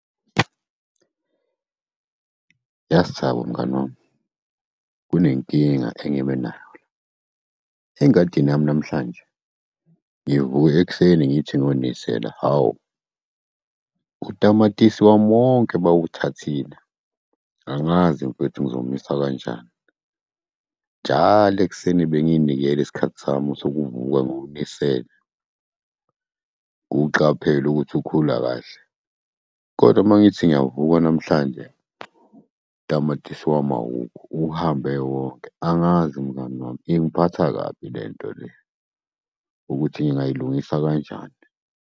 Yazi, Thabo mngani wami, kunenkinga engibe nayo la, engadini yami namhlanje, ngivuke ekuseni ngithi siyonisela. Hhawu, utamatisi wami wonke bawuthathile. Angazi mfethu ngizomisa kanjani. Njalo ekuseni benginikeza isikhathi sami sokuvuka ngiwunisele, ngiwuqaphele ukuthi ukhula kahle. Kodwa mangithi ngiyavuka namhlanje, utamatisi wami awukho, uhambe wonke. Angazi mngani wami. Ingiphatha kabi lento le, ukuthi ngingayilungisa kanjani.